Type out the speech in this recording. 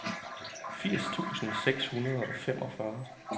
firs tusind seks hundrede og femogfyrre